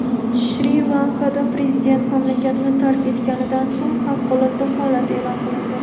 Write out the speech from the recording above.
Shri-Lankada prezident mamlakatni tark etganidan so‘ng favqulodda holat eʼlon qilindi.